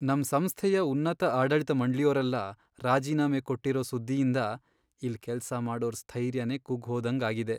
ನಮ್ ಸಂಸ್ಥೆಯ ಉನ್ನತ ಆಡಳಿತ ಮಂಡ್ಳಿಯೋರೆಲ್ಲ ರಾಜೀನಾಮೆ ಕೊಟ್ಟಿರೋ ಸುದ್ದಿಯಿಂದ ಇಲ್ಲ್ ಕೆಲ್ಸ ಮಾಡೋರ್ ಸ್ಥೈರ್ಯನೇ ಕುಗ್ಗ್ ಹೋದಂಗಾಗಿದೆ.